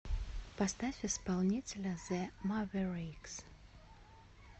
поставь исполнителя зе маверикс